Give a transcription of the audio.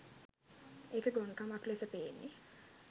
ඒක ගොන් කමක් ලෙස පේන්නේ